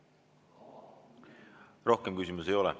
Rohkem küsimusi ei ole.